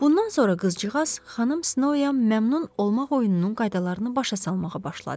Bundan sonra qızcığaz xanım Snow-ya məmnun olmaq oyununun qaydalarını başa salmağa başladı.